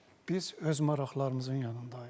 Biz öz maraqlarımızın yanındayıq.